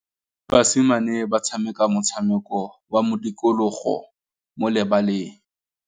Basimane ba tshameka motshameko wa modikologô mo lebaleng.